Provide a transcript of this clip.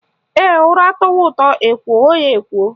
Ee, ụra tọwa ụtọ, ekwoo ya ekwoo